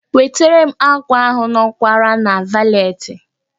Wetere m ákwà ahụ nkowara na valetị